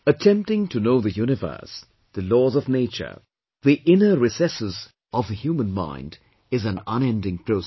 Attempting to know the universe, the laws of Nature, the inner recesses of the human mind is an unending process